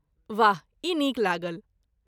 वाह! ई नीक लागल।